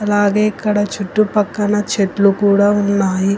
అలాగే ఇక్కడ చుట్టుపక్కన చెట్లు కూడా ఉన్నాయి.